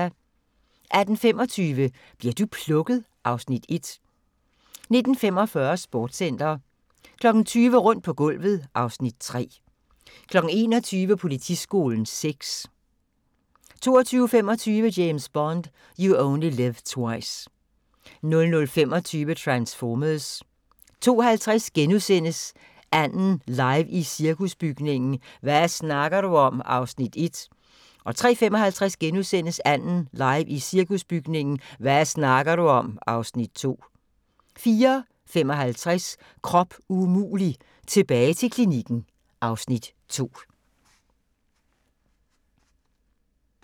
18:25: Bli'r du plukket? (Afs. 1) 19:45: Sportscenter 20:00: Rundt på gulvet (Afs. 3) 21:00: Politiskolen 6 22:25: James Bond: You Only Live Twice 00:25: Transformers 02:50: "Anden" live i Cirkusbygningen – hva' snakker du om? (Afs. 1)* 03:55: "Anden" live i Cirkusbygningen – hva' snakker du om? (Afs. 2)* 04:55: Krop umulig – tilbage til klinikken (Afs. 2)